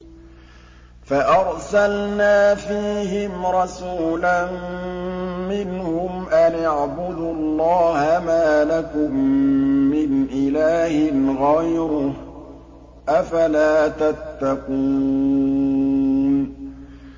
فَأَرْسَلْنَا فِيهِمْ رَسُولًا مِّنْهُمْ أَنِ اعْبُدُوا اللَّهَ مَا لَكُم مِّنْ إِلَٰهٍ غَيْرُهُ ۖ أَفَلَا تَتَّقُونَ